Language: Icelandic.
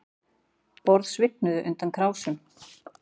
Borð svignuðu undan krásum